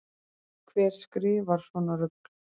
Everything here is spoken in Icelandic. Hver skrifar svona rugl